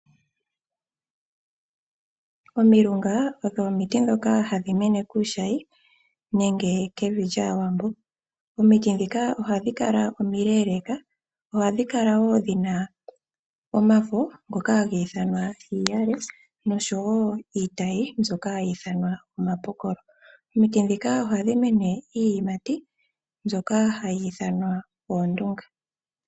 Omilunga odho omiti ndhoka hadhi mene kuushayi nenge kevi lyaawambo. Omiti ndhika ohadhi kala omileleka dhina omafo ngono hakutiwa iiyale oshowo iitayi omapokolo. Omiti dhika ohadhi imi iiyimati mbyoka ha kutiwa oondunga.